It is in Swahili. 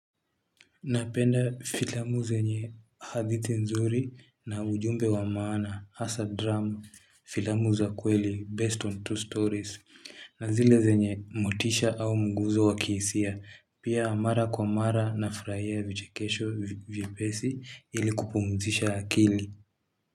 Napenda filamu zenye hadithi nzuri na ujumbe wa maana, hasa drama, filamu za kweli, based on true stories, na zile zenye motisha au mguzo wa kihisia, pia mara kwa mara na furahia vichekesho vyepesi ili kupumzisha akili.